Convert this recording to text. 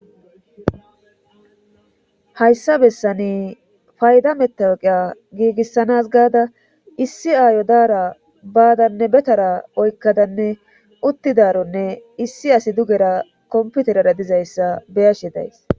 hayssa bessani fayda metewaqiya giigissanas gaada issi aayo daara baadanne betara oykkadanne uttidaronne issi asi dugera komputerera dizayssa beyashi days